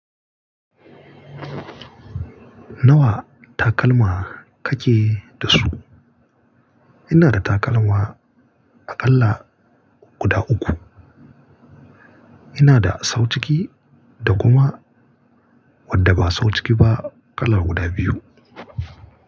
Nawa takalma kake da su? Ina da takalma a kala guda uku. Ina da sau ciki da kuma wadda ba sau ciki ba kala guda biyu.